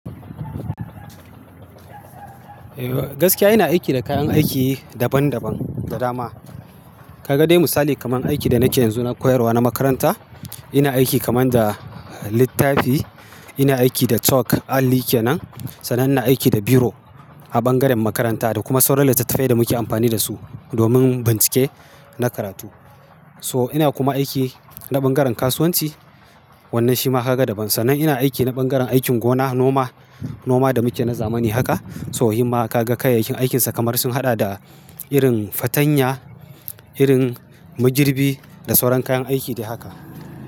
Eh gaskiya ina aiki da kayan aiki daban daban da dama. Ka ga dai misali kamar aiki da nake yanzu na koyarwa na makaranta, ina aiki kamar da littafi, ina aiki da chalk alli kenan, sannan na aiki da biro a bangaren makaranta da kuma sauran littattafai da muke amfani da su domin bincike na karatu. So ina kuma aiki na bangaren kasuwanci, wannan shi ma ka ga daban. Sannan ina aiki na bangaren aikin gona, noma, noma da muke na zamani haka. So himma ka ga kayayyakin aikinsa kamar sun haɗa da irin fatanya, irin magirbi da sauran kayan aiki dai haka.